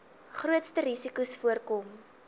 grootste risikos voorkom